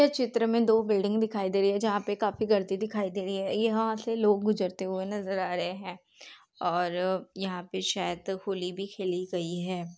ये चित्र मे दो बिल्डिंग दिखाई दे रही है जहां पर काफी गर्दी दिखाई दे रही है यहां से लोग गुजर ते नजर आ रहे है और यहां पे शायद होली भी खेली गई है।